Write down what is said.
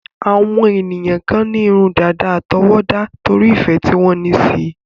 Àwọn ènìyàn kan ní irun dàda àtọwọ́dá, torí ìfẹ́ tí wọ́n ní síi.